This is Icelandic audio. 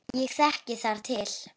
Ég þekki þar til.